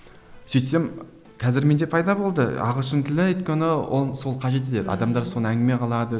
сөйтсем қазір менде пайда болды ағылшын тілі өйткені ол сол қажет етеді адамдар соны әңгіме қылады